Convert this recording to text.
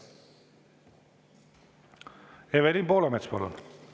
Evelin Poolamets, palun!